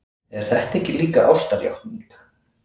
Er þetta ekki líka ástarjátning?